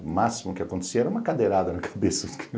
O máximo que acontecia era uma cadeirada na cabeça do cara.